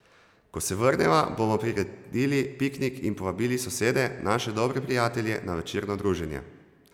Ko se vrneva, bomo priredili piknik in povabili sosede, naše dobre prijatelje, na večerno druženje.